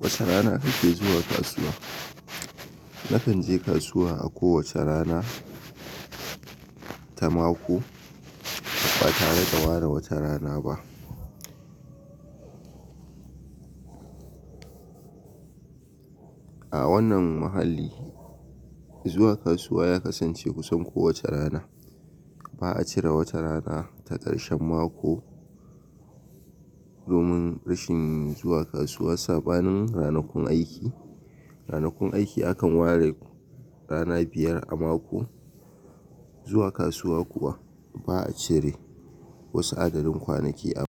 Wace rana kake zuwa kasuwa? Na kan je kasuwa a kowace rana ta mako ba tare da ware wata rana ba. A wannan muhalli, zuwa kasuwa ya kasance kusan kowace rana. Ba a cire wata rana ta karshen mako domin rashin zuwa kasuwa. Saɓanin ranakun aiki, ranakun aiki akan ware rana biyar a mako. Zuwa kasuwa kuwa ba a cire wasu adadin kwanaki a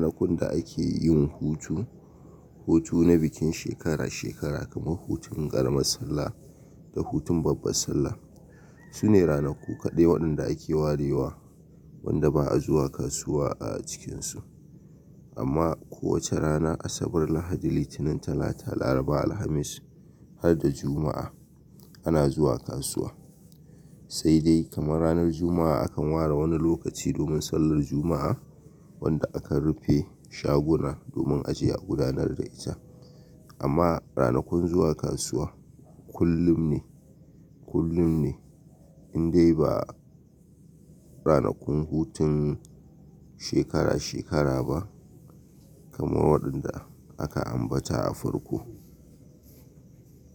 ranakun da ake yin hutu, hutu na bikin shekara shekara kamar hutun ƙaramar sallah da hutun babbar sallah. Sune ranaku kaɗai waɗanda ake warewa wanda ba a zuwa kasuwa a cikinsu. Amma kowace rana, Asabar, Lahadi, Litinin, Talata, Laraba, Alhamis har da Juma'a ana zuwa kasuwa. Sai dai kamar ranar Juma'a akan ware wani lokaci domin sallar Juma'a wanda akan rufe shaguna domin aje gudanar da ita. Amma ranakun zuwa kasuwa kullum ne, kullum ne, in dai ba ranakun hutun shekara shekara ba kamar waɗanda aka ambata a farko.